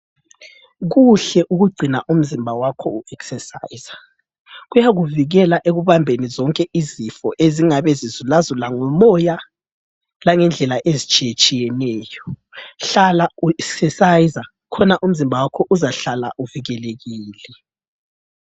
Kuhle ukugcina umzimba wakho u ekisesayiza, kuyakuvikela ekubambeni izifo ezingabe zizulazula ngomoya langendlela ezitshiyetshiyeneyo. Hlala u ekisesayiza khona umzimba wakho uzahlala uvikelekile.